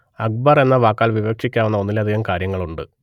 അക്ബർ എന്ന വാക്കാൽ വിവക്ഷിക്കാവുന്ന ഒന്നിലധികം കാര്യങ്ങളുണ്ട്